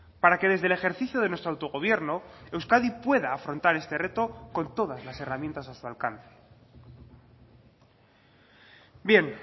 para que desde el ejercicio de nuestro autogobierno euskadi pueda afrontar este reto con todas las herramientas a su alcance bien